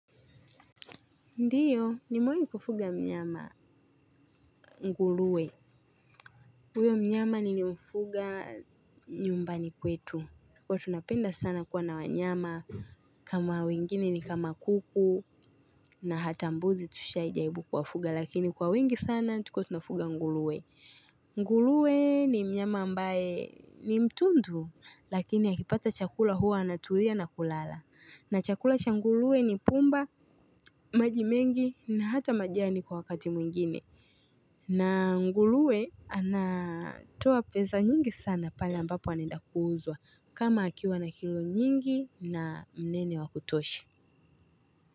Ndio, ni mwenye kufuga mnyama nguruwe. Huyo mnyama nilimfuga nyumbani kwetu. Huwa tunapenda sana kuwa na wanyama kama wengine ni kama kuku na hata mbuzi tushaijaribu kuwafuga. Lakini kwa wengi sana, tulikuwa tunafuga nguruwe. Nguruwe ni mnyama ambaye ni mtundu, lakini akipata chakula huwa anatulia na kulala. Na chakula cha nguruwe ni pumba, maji mengi na hata majani kwa wakati mwingine. Na nguruwe anatoa pesa nyingi sana pale ambapo anaenda kuuzwa kama akiwa na kilo nyingi na mnene wa kutosha.